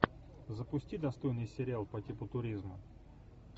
запусти достойный сериал по типу туризма